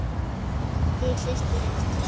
Þín systir, Ester.